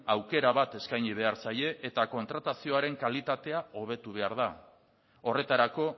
aukera bat eskaini behar zaie eta kontratazioaren kalitatea hobetu behar da horretarako